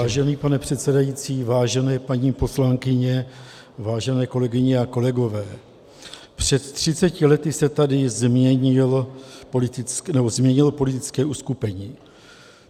Vážený pane předsedající, vážené paní poslankyně, vážené kolegyně a kolegové, před třiceti lety se tady změnilo politické uskupení.